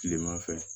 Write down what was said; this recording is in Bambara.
Kilema fɛ